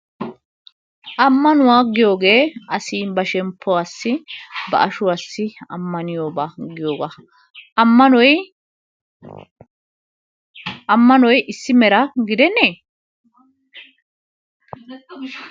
Ammanuwa giyoogee asi ba shemppuwassi ba ashuwassi ammaniyoba giyoogaa. ammanoy ammanoy issi meraa gidenee?